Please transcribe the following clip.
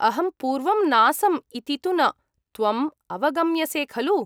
अहं पूर्वं नासम् इति तु न, त्वम् अवगम्यसे खलु।